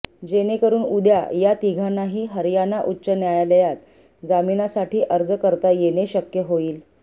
जेणेकरून उद्या या तिघांनाही हरयाणा उच्च न्यायालयात जामिनासाठी अर्ज करता येणे शक्य होईल